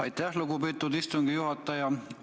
Aitäh, lugupeetud istungi juhataja!